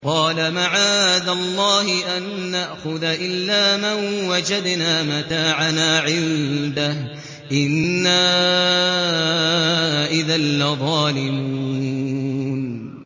قَالَ مَعَاذَ اللَّهِ أَن نَّأْخُذَ إِلَّا مَن وَجَدْنَا مَتَاعَنَا عِندَهُ إِنَّا إِذًا لَّظَالِمُونَ